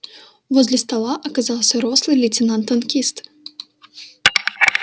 возле стола оказался рослый лейтенант танкист